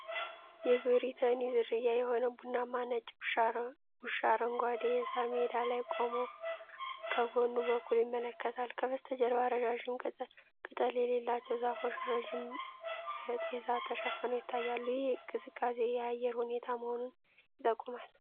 የብሪተኒ ዝርያ የሆነ ቡናማና ነጭ ውሻ፣ አረንጓዴ የሳር ሜዳ ላይ ቆሞ ከጎኑ በኩል ይመለከታል። ከበስተጀርባ ረዣዥም ቅጠል የሌላቸው ዛፎች ረድፍ በጤዛ ተሸፍነው ይታያሉ፤ ይህም ቀዝቃዛ የአየር ሁኔታ መሆኑን ይጠቁማል።